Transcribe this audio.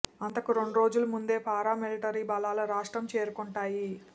అంతకు రెండు రోజుల ముందే పారా మిలటరీ బలాలు రాష్ట్రం చేరుకొంటాయి